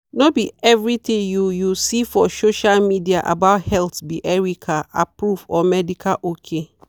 no be everthing you you see for social media about health be erica-approved or medical ok.